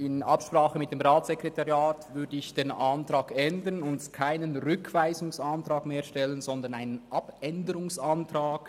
In Absprache mit dem Ratssekretariat würde ich den Antrag ändern und keinen Rückweisungsantrag stellen, sondern einen Abänderungsantrag.